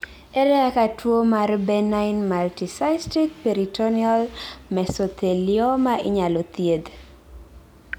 ere kaka tuwo mar benign multicystic peritoneal mesothelioma inyalo thiedh?